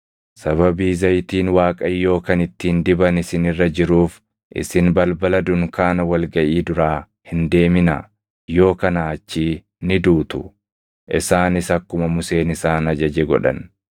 Sababii zayitiin Waaqayyoo kan ittiin diban isin irra jiruuf isin balbala dunkaana wal gaʼii duraa hin deeminaa; yoo kanaa achii ni duutu.” Isaanis akkuma Museen isaan ajaje godhan.